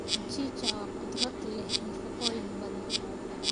Mchichaa waa khudrad leh nafaqooyin badan.